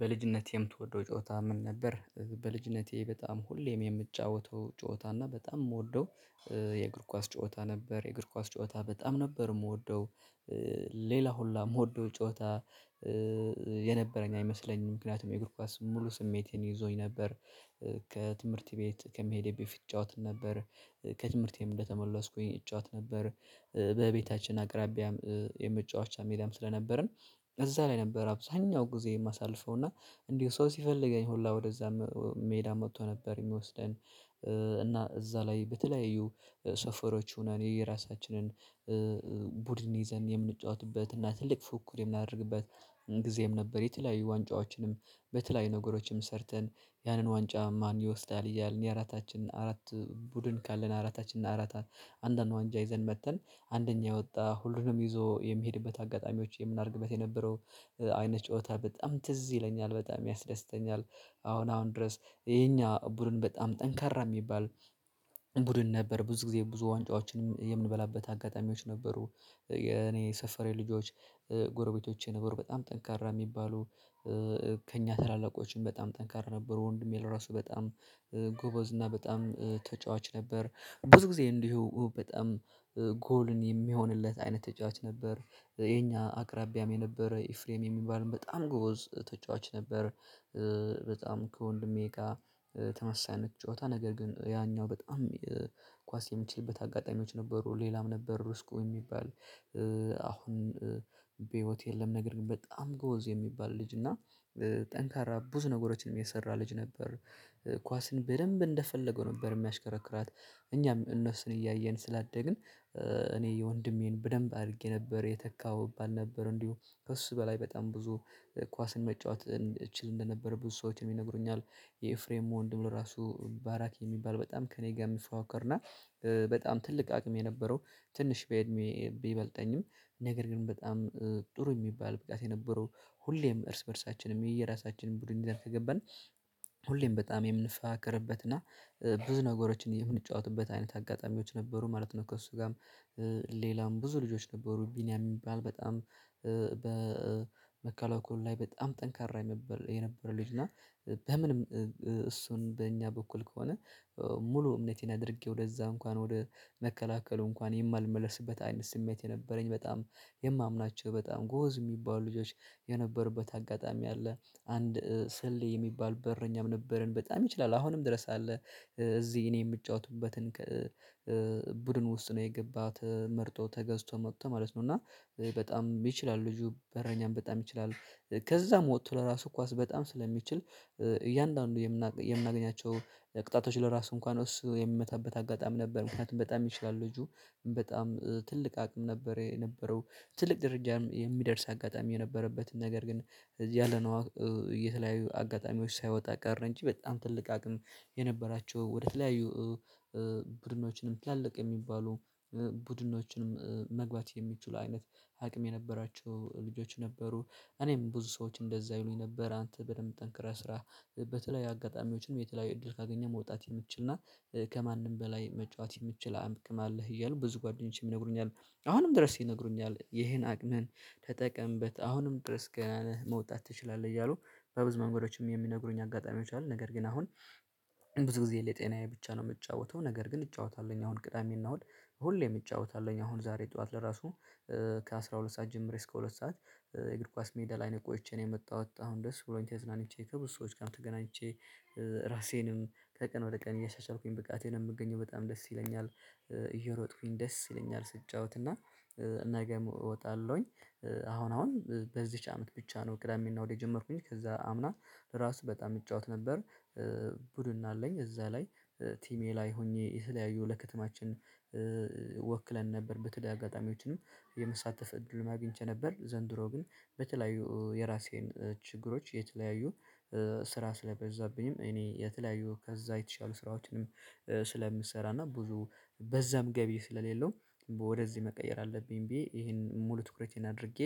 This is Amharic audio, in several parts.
በልጅነቴ የምትወደው ጨዋታ ምን ነበር? በልጅነቴ በጣም ሁሌም የምጫወተው ጨዋታ እና በጣም የምወደው የእግር ኳስ ጨዋታ ነበር። የእግር ኳስ ጨዋታ በጣም ነበር የምወደው ሌላ ሁላ የምወደው ጨዋታ የነበረኝ አይመስለኝም ምክንያቱም የእግር ኳስ ሙሉ ስሜቴን ይዞኝ ነበር። ከትምህርት ቤት ከመሄዴ በፊት እጫወት ነበር። ከትምህርቴም እንደተመለስኩኝ እጫወት ነበር። በቤታችን አቅራቢያም የመጫወቻ ሜዳም ስለነበርን እዛ ላይ ነበር አብዛኛው ጊዜ የማሳልፈው እና። እንዲሁ ሰው ሲፈልገኝ ሁላ ወደዛ ሜዳ መጥቶ ነበር የሚወስደን። እና እዛ ላይ በተለያዩ ሰፈሮች ሆናል የየራሳችንን ቡድን ይዘን የምንጫወትበት እና ትልቅ ፉክክር የምናደርግበት ጊዜም ነበር። የተለያዬ ዋንጫዎችንም በተለያዬ ነገሮችም ሰርተን ያንን ዋንጫ ማን ይወስዳል እያልን የአራታችን አራት ቡድን ካለን አራታችን አራታ አንዳንድ ዋንጫ ይዘን መጥተን አንደኛ የወጣ ሁሉንም ይዞ የሚሄድበት አጋጣሚዎች የምናደርግበት የነበረው አይነት ጨዋታ በጣም ትዝ ይለኛል በጣም ያስደስተኛል። አሁን አሁን ድረስ የኛ ቡድን በጣም ጠንካራ የሚባል ቡድን ነበር ብዙ ጊዜ ብዙ ዋንጫዎችን የምንበላበት አጋጣሚዎች ነበሩ። የእኔ ሰፈሬ ልጆች ጎረቤቶቼ ነበር በጣም ጠንካራ የሚባሉ ከእኛ ታላላቆችም በጣም ጠንካራ ነበሩ። ወንድሜ ለራሱ በጣም ጎበዝ እና በጣም ተጫዋች ነበር። ብዙ ጊዜ እንዲሁ በጣም ጎልን የሚሆንለት አይነት ተጫዋች ነበር። የኛ አቅራቢያም የነበረ ኤፍሬም የሚባልም በጣም ጎበዝ ተጫዋች ነበር። በጣም ከወንድሜ ጋር ተመሳሳይ አይነት ጨዋታ ነገር ግን ያኛው በጣም ኳስ የምትችልበት አጋጣሚዎች ነበሩ ሌላም ነበር ርስቁ የሚባል አሁን በህይወት የለም ነገር ግን በጣም ጎበዝ የሚባል ልጅ እና ጠንካራ ብዙ ነገሮችንም የሰራ ልጅ ነበር። ኳስን በደንብ እንደፈለገው ነበር የሚያሽከረክራት እኛም እነሱን እያየን ስላደግን እኔ የወንድሜን በደንብ አድርጌ ነበር የተካሁ እባል ነበረ እንዲሁ ከእሱ በላይ በጣም ብዙ ኳስን መጫወት እችል እንደነበረ ብዙ ሰዎችን ይነግሩኛል። የኤፍሬም ወንድም ለራሱ ባራኪ የሚባል በጣም ከእኔ ጋር የሚፎካከርና በጣም ትልቅ አቅም የነበረው ትንሽ በእድሜ ቢበልጠኝም ነገር ግን በጣም ጥሩ የሚባል ብቃት የነበረው ሁሌም እርስ በእርሳችንም የየራሳችንን ቡድን ይዘን ከገባን ሁሌም በጣም የምንፎካከርበት እና ብዙ ነገሮችን የምንጫወትበት አይነት አጋጣሚዎች ነበሩ ማለት ነው። ከእሱ ጋርም ሌላም ብዙ ልጆች ነበሩ ቢኒያም የሚባል በጣም በመከላከሉ ላይ በጣም ጠንካራ የነበረ ልጅ እና በምንም እሱን በእኛ በኩል ከሆነ ሙሉ እምነቴን አድርጌ ወደዛ እንኳን ወደ መከላከሉ እንኳን የማልመለስበት አይነት ስሜት የነበረኝ በጣም የማምናቸው በጣም ጎበዝ የሚባሉ ልጆች የነበሩበት አጋጣሚ አለ አንድ ስሌ የሚባል በረኛም ነበርን በጣም ይችላል አሁንም ድረስ አለ። እዚህ እኔ የምጫወትበት ቡድን ውስጥ ነው የገባው ተመርጦ ተገዝቶ መጥቶ ማለት ነው እና በጣም ይችላል ልጁ በረኛም በጣም ይችላል። ከዛም ወጥቶ ለራሱ ኳስ በጣም ስለሚችል እያንዳንዱ የምናገኛቸው ቅጣቶች ለራሱ እንኳን እሱ የሚመታበት አጋጣሚ ነበር ምክንያቱም በጣም ይችላል ልጁ በጣም ትልቅ አቅም ነበር የነበረው ትልቅ ደረጃም የሚደርስ አጋጣሚ የነበረበት ነገር ግን እዚህ ያለ ነው የተለያዩ አጋጣሚዎች ሳይወጣ ቀረ እንጂ በጣም ትልቅ አቅም የነበራቸው ወደተለያዩ ቡድኖችንም ትላልቅ የሚባሉ ቡድኖችንም መግባት የሚችሉ አይነት አቅም የነበራቸው ልጆች ነበሩ። እኔም ብዙ ሰዎች እንደዛ ይሉኝ ነበር አንተ በደንብ ጠንክረህ ስራ በተለይ አጋጣሚዎችም የተለያዩ እድል ካገኘህ መውጣት የምትችል እና ከማንም በላይ መጫወት የምትችል አቅም አለህ እያሉ ብዙ ጓደኞቼም ይነግሩኛል። አሁንም ድረስ ይነግሩኛል ይሄን አቅምን ተጠቀምበት አሁንም ድረስ ገና ነህ መውጣት ትችላለህ እያሉ በብዙ መንገዶችም የሚነግሩኝ አጋጣሚዎች አሉ። ነገር ግን አሁን ብዙ ጊዜ ለጤናዬ ብቻ ነው የምጫወተው ነገር ግን እጫወታለሁኝ አሁን ቅዳሜና እሁድ ሁሌም እጫወታለሁኝ አሁን ዛሬ ጠዋት ለራሱ ከአሥራ ሁለት ሰዓት ጀምሬ እስከ ሁለት ሰዓት የእግር ኳስ ሜዳ ላይ ነው ቆይቼ ነው የመጣሁት አሁን ደስ ብሎኝ ተዝናንቼ ከብዙ ሰዎች ጋርም ተገናኝቼ ራሴንም ከቀን ወደ ቀን እያሻሻልኩኝ ብቃቴን የምገኘው በጣም ደስ ይለኛል። እየሮጥኩኝ ደስ ይለኛል ስትጫወት እና ነገ እወጣለሁኝ። አሁን አሁን በዚች አመት ብቻ ነው ቅዳሜና እሁድ የጀመርኩኝ ከዛ አምና ራሱ በጣም እጫወት ነበር። ቡድን አለኝ እዛ ላይ ቲሜ ላይ ሆኜ የተለያዩ ለከተማችን ወክለን ነበር በተለይ አጋጣሚዎችንም የመሳተፍ እድል አግኝቼ ነበር። ዘንድሮ ግን በተለያዩ የራሴን ችግሮች የተለያዩ ስራ ስለበዛብኝም እኔ የተለያዩ ከዛ የተሻሉ ስራዎችንም ስለምሰራና ብዙ በዛም ገቢ ስለሌለው ወደዚህ መቀየር አለብኝ ብዬ ይሄን ሙሉ ትኩረቴን አድርጌ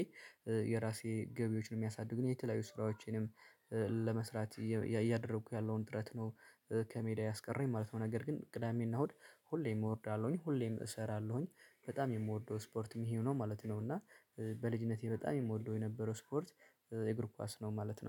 የራሴ ገቢዎችን የሚያሳድጉ የተለያዩ ስራዎቼንም ለመስራት እያደረኩ ያለውን ጥረት ነው። ከሜዳ ያስቀረኝ ማለት ነው ነገር ግን ቅዳሜና እሁድ ሁሌም እወርዳለሁኝ ሁሌም እሰራለሁኝ በጣም የምወርደው ስፖርት ይሄው ነው ማለት ነው። እና በልጅነቴ በጣም የምወደው የነበረው ስፖርት የእግር ኳስ ነው ማለት ነው